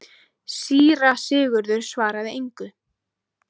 Síra Sigurður svaraði engu.